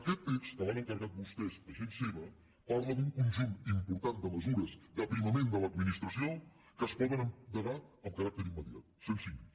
aquest text que l’han encarregat vostès a gent seva parla d’un conjunt important de mesures d’aprimament de l’administració que es poden endegar en caràcter immediat cent cinc